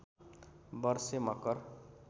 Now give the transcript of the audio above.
वर्षे मकर